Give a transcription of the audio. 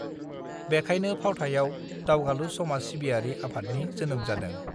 बेखाइनो फावथायाव दावगालु समाज सिबियारि आफादनि जोनोम जादों